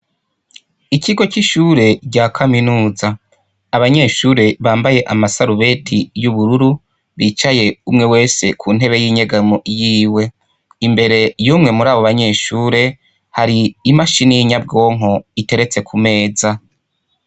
Ikigo c'ishuri rya kaminuza, abanyeshuri bambaye amasarubeti y'ubururu bicaye umwe wese ku ntebe yinyegamo yiwe ,imbere yumwe murabo banyeshuri hari imashine yinyabwonko iteretse ku meza.